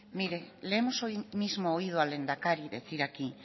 mire le hemos hoy mismo oído al lehendakari decir aquí